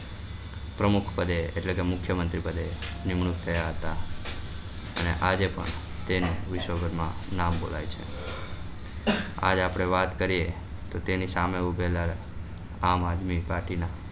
પ્રમુખ પડે એટલે કે મુખ્ય મંત્રી પડે નિમણુક થયા હતા અને આજે પણ તેની વિશ્વભર માં નામ બોલાય છે આજ આપડે વાત કરીએ તો તેના સામે ઉભેલા આમ આદમી party ના.